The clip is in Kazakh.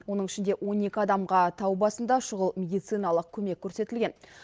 оның ішінде он екі адамға тау басында шұғыл медициналық көмек көрсетілген